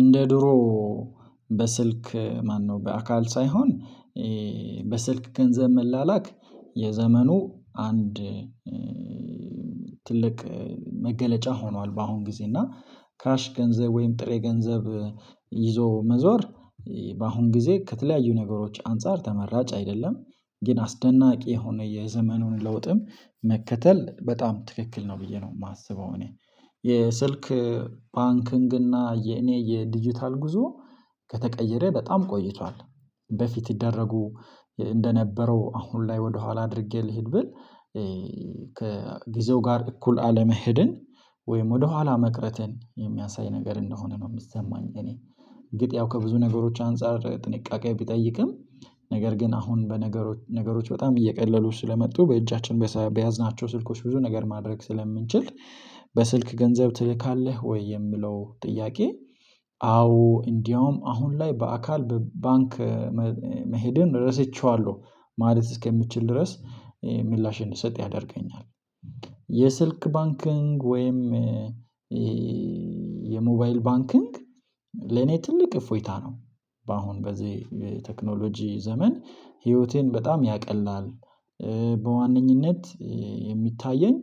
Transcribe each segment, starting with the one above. እንደ ድሮ በስልክ ማነው በአካል ሳይሆን በስልክ ገንዘብ መላላክ የዘመኑ አንድ ትልቅ መገለጫ ሆኗል። በአሁን ግዜ እና ካሽ ገንዘብ ወይም ጥሬ ገንዘብ ይዞ መዞር በአሁን ጊዜ ከተለያዩ ነገሮች አንፃር ተመራጭ አይደለም። ግን አስደናቂ የሆነ የዘመኑን ለውጥም መከተል በጣም ትክክል ነው ብዬ ነው ማስበው። እኔ የስልክ ባንክንግ እና የኔ የዲጂታል ጉዞ ከተቀየረ በጣም ቆይቷል። በፊት ይደረጉ እንደነበረው አሁን ላይ ወደኋላ አድርጌ ልሂድ ብል ከግዜው ጋር እኩል አለመሄድን ወይም ወደኋላ መቅረትን የሚያሳይ ነገር እንደሆነ ነው ሚሰማኝ። እኔ እርግጥ ያው ከብዙ ነገሮች አንፃር ጥንቃቄ ቢጠይቅም ነገር ግን አሁን በነገሮች ነገሮች በጣም እየቀለሉ ስለመጡ በእጃችን በያዝናቸው ስልኮች ብዙ ነገር ማድረግ ስለምንችል። በስልክ ገንዘብ ትልካለህ ወይ የምለው ጥያቄ? አዎ እንዲያውም አሁን ላይ በአካል በ ባንክ መሄድን ረስቸዋለሁ ማለት እስከምችል ድረስ ምላሽ እንድሰጥ ያደርገኛል። የስልክ ባንክንግ ወይም የሞባይል ባንክንግ ለኔ ትልቅ እፎይታ ነው። በአሁን በዚህ የቴክኖሎጂ ዘመን ህይወቴን በጣም ያቀላል። በዋነኝነት የሚታየኝ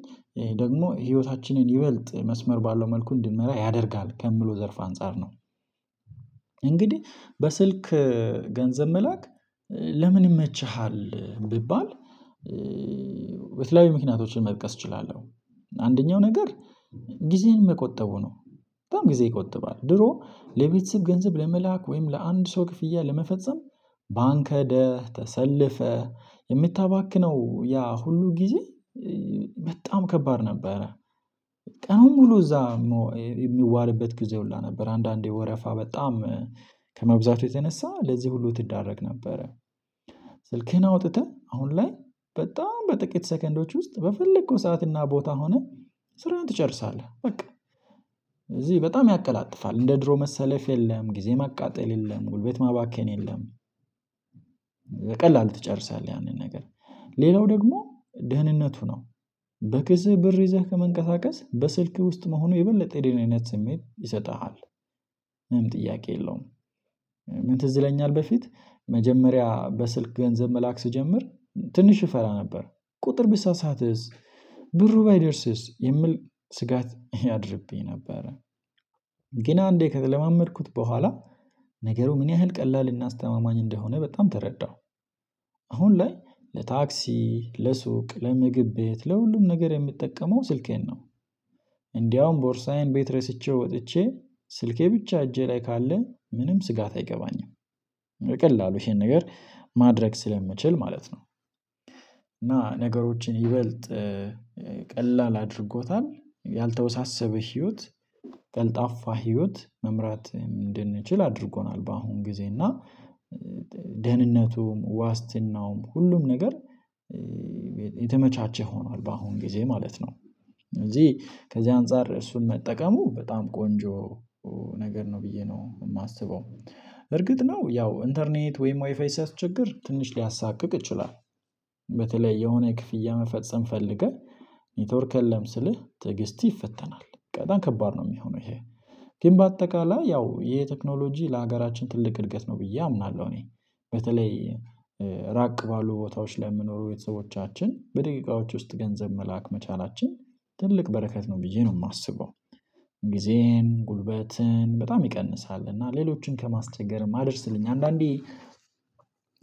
ደግሞ ህይወታችንን ይበልጥ መስመር ባለው መልኩ እንድንመራ ያደርጋል ከምለው ዘርፍ አንፃር ነው። እንግዲህ በስልክ ገንዘብ መላክ ለምን ይመችሃል ቢባል? የተለያዪ ምክንያቶችን መጥቀስ እችላለሁ። አንደኛው ነገር ጊዜን መቆጠቡ ነው። በጣም ጊዜ ይቆጥባል ድሮ ለቤተሰብ ገንዘብ ለመላክ ወይም ለአንድ ሰው ክፍያ ለመፈጸም ባንክ ህደህ ተሰልፈህ እምታባክነው ያ ሁሉ ጊዜ በጣም ከባድ ነበረ። ቀኑን ሙሉ እዛ ሚዋልበት ጊዜ ሁላ ነበር አንዳንዴ ወረፋ በጣም ከመብዛቱ የተነሳ ለዚህ ሁሉ ትዳረግ ነበረ። ስልክህን አውጥተህ አሁን ላይ በጣም በጥቂት ሰከንዶች ውስጥ በፈለከው ሰዓትና ቦታ ሆነህ ስራህን ትጨርሳለህ። በቃ እዚህ በጣም ያቀላጥፋል እንደ ድሮ መሰለፍ የለም ጊዜ ማቃጠል የለም ጉልበት ማባከን የለም። በቀላሉ ትጨርሳለህ ያንን ነገር ሌላው ደግሞ ደህንነቱ ነው። በክስህ ብር ይዘህ ከመንቀሳቀስ በስልክህ ውስጥ መሆኑ የበለጠ የደህንነት ስሜት ይሰጥሃል። ምንም ጥያቄ የለውም። ትዝይለኛል በፊት መጀመሪያ በስልክ ገንዘብ መላክ ስጀምር ትንሽ እፈራ ነበር። ቁጥር ብሳሳትስ ብሩ ባይደርስስ የምል ስጋት ያድርብኝ ነበረ። ግን አንዴ ከተለማመድኩት በኋላ ነገሩ ምን ያህል ቀላል እና አስተማማኝ እንደሆነ በጣም ተረዳሁ። አሁን ላይ ለታክሲ ለሱቅ ለምግብ ቤት ለሁሉም ነገር የምጠቀመው ስልኬን ነው። እንዳውም ቦርሳዬን ቤት ረስቼ ወጥቼ ስልኬ ብቻ እጄ ላይ ካለን ምንም ስጋት አይገባኝም። በቀላሉ እሄን ነገር ማድረግ ስለምችል ማለት ነው። እና ነገሮችን ይበልጥ ቀላል አድርጎታል ያልተወሳሰበ ህይወት ቀልጣፋ ህይወት መምራት እንድንችል አድርጎናል። በአሁን ጊዜ እና ደህንነቱም ዋስትናውም ሁሉም ነገር የተመቻቸ ሆኗል በአሁን ጊዜ ማለት ነው። እዚህ ከዚህ አንፃር እሱን መጠቀሙ በጣም ቆንጆ ነገር ነው ብዬ ነው እማስበው። በ እርግጥ ነው ያው እንተርኔት ወይም ዋይፋይ ሲያስቸግር ትንሽ ሊያሳቅቅ ይችላል። በተለይ የሆነ ክፍያ መፈጸም ፈልገህ ኔትወርክ የለም ስልህ ትዕግስትህ ይፈተናል በጣም ከባድ ነው ሚሆነው። እሄ ግን በአጠቃላይ ያው የ ቴክኖሎጂ ለሀገራችን ትልቅ እድገት ነው ብዬ አምናለሁ። እኔ በተለይ ራቅ ባሉ ቦታዎች ላይ ለምኖሩ ቤተሰቦቻችን በደቂቃዎች ውስጥ ገንዘብ መላክ መቻላችን ትልቅ በረከት ነው ብዬ ነው ማስበው። ጊዜን ጉልበትን በጣም ይቀንሳል እና ሌሎችን ከማስቸገርም አድርስልኝ አንዳንዴ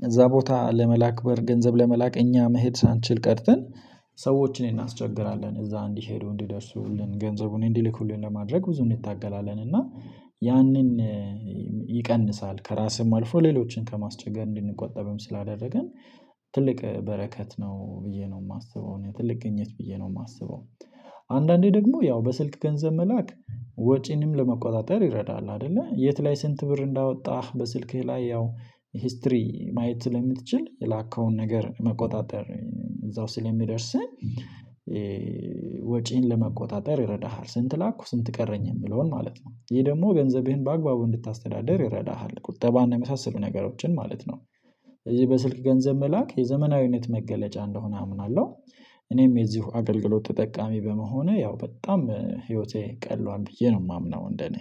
እዛ ቦታ ለመላክ በር ገንዘብ ለመላክ እኛ መሄድ ሳንችል ቀርተን ሰዎችን እናስቸግራለን። እዛ እንዲሄዱው እንዲደርሱልን ገንዘቡን እንዲልኩልን ለማድረግ ብዙ እንታገላለን እና ያንን ይቀንሳል። ከራስም አልፎ ሌሎችን ከማስቸገር እንድንቆጠብም ስላደረግን ትልቅ በረከት ነው ብዬ ነው ማስበው ትልቅ ግኝት ብዬ ነው ማስበው። አንዳንዴ ደግሞ ያው በስልክ ገንዘብ መላክ ወጪንም ለመቆጣጠር ይረዳል አይደለ የት ላይ ስንት ብር እንዳወጣህ በስልክህ ላይ ያው ሂስትሪ ማየት ስለምትችል የላከውን ነገር መቆጣጠር እዛው ስለሚደርስን ወጪን ለመቆጣጠር ይረዳሃል። ስንት ላኩ ስንት ቀረኝ የምለውን ማለት ነው ይህ ደሞ ገንዘብህን በአግባቡ እንድታስተዳድር ይረዳሃል። ቁጠባና የመሳሰሉ ነገሮችን ማለት ነው። ስለዚህ በስልክ ገንዘብ መላክ የዘመናዊነት መገለጫ እንደሆነ አምናለሁ። እኔም የዚሁ አገልግሎት ተጠቃሚ በመሆኔ ያው በጣም ህይወቴ ቀሏን ብዬ ነው ማምነው እንደኔ